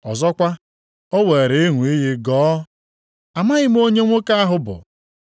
Ọzọkwa, o weere ịṅụ iyi gọọ, “Amaghị m onye nwoke ahụ bụ.”